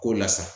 K'o la sa